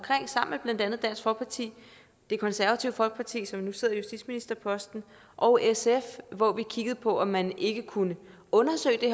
sammen med blandt andet dansk folkeparti det konservative folkeparti som nu sidder på justitsministerposten og sf hvor vi kiggede på om man ikke kunne undersøge det